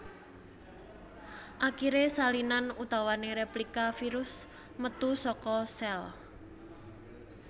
Akiré salinan utawané réplika virus metu saka sèl